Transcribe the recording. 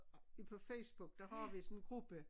I på Facebook der har vi sådan en gruppe